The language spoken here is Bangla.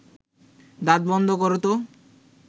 দাঁত বন্ধ কর তো